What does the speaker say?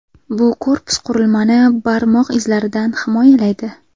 Bu korpus qurilmani barmoq izlaridan himoyalaydi.